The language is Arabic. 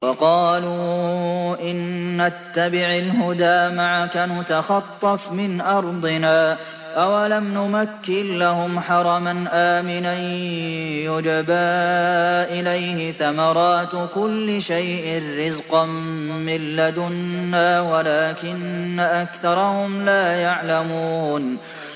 وَقَالُوا إِن نَّتَّبِعِ الْهُدَىٰ مَعَكَ نُتَخَطَّفْ مِنْ أَرْضِنَا ۚ أَوَلَمْ نُمَكِّن لَّهُمْ حَرَمًا آمِنًا يُجْبَىٰ إِلَيْهِ ثَمَرَاتُ كُلِّ شَيْءٍ رِّزْقًا مِّن لَّدُنَّا وَلَٰكِنَّ أَكْثَرَهُمْ لَا يَعْلَمُونَ